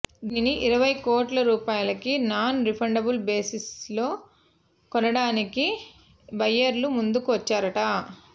దీనిని ఇరవై కోట్ల రూపాయలకి నాన్ రిఫండబుల్ బేసిస్లో కొనడానికి బయ్యర్లు ముందుకి వచ్చారట